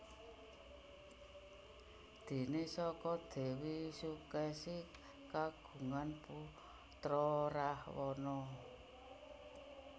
Déné saka Déwi Sukèsi kagungan putra Rahwana